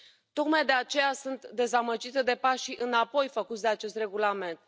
Tocmai de aceea sunt dezamăgită de pașii înapoi făcuți de acest regulament.